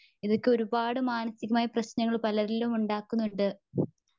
ഇതൊക്കെ ഒരുപാട് മാനസീകമായ പ്രശ്നങ്ങൾ പലരിലും ഉണ്ടാക്കുന്നുണ്ട്.